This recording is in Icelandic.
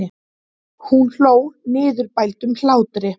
Hún hló niðurbældum hlátri.